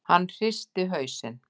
Hann hristi hausinn.